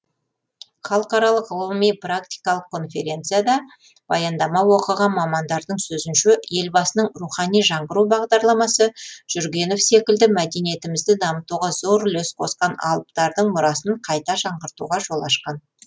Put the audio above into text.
халықаралық ғылыми практикалық конференцияда баяндама оқыған мамандардың сөзінше елбасының рухани жаңғыру бағдарламасы жүргенов секілді мәдениетімізді дамытуға зор үлес қосқан алыптардың мұрасын қайта жаңғыртуға жол ашқан